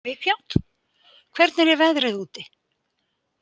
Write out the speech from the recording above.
Mikjáll, hvernig er veðrið úti?